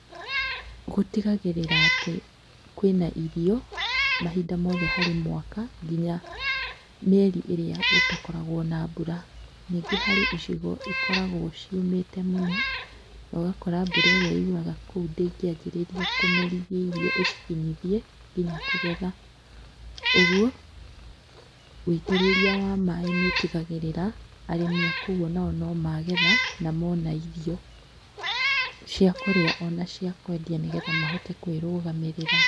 Gũtigagĩrĩra atĩ kwĩna irio mahinda mothe harĩ mwaka nginya mĩeri ĩrĩa gũtakoragwo na mbura. Ningĩ harĩ icigo ikoragwo ciũmĩte mũno na ũgakora mbura ĩria yũraga kũu ndĩngĩanjĩrĩria kũmerithia irio ĩcikinyithie nginya kũgetha, ũguo wũitĩrĩria wa maaĩ nĩũtigagĩrĩra arĩmi a kũu no magetha na mona irio, cia kũrĩa ona cia kwendia nĩgetha mahote kwĩrũgamĩrĩra.